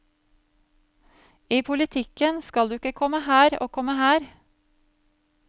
I politikken skal du ikke komme her, og komme her.